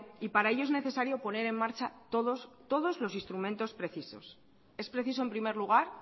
y para ello es necesario poner en marcha todos todos los instrumentos precisos es preciso en primer lugar